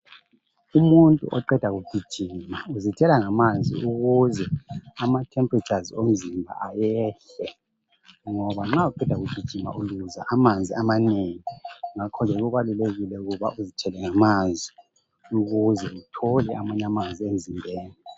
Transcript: Umuntu oqeda kugijima uzithela ngamanzi ukuze amatemperatures omzimba ayehle ngoba nxa usanda kugijima uluza amanzi amanengi ngakho-ke kubalulekile ukuba uzithele ngamanzi ukuze uthole amanye amanzi emzimbeni.